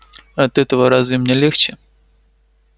от этого разве мне легче